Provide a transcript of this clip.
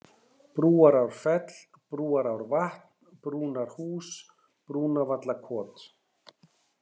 Brúarárfell, Brúarárvatn, Brúnarhús, Brúnavallakot